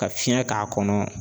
Ka fiɲɛ k'a kɔnɔ.